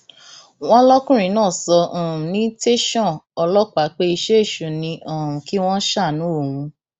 wọn lọkùnrin náà sọ um ní tẹsán ọlọpàá pé iṣẹ èṣù ni um kí wọn ṣàánú òun